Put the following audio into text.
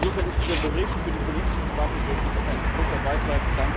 Insofern ist dieser Bericht für die politische Debatte wirklich ein großer Beitrag.